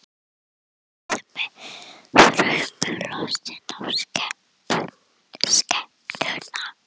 Krakkarnir horfðu sem þrumulostin á skepnuna.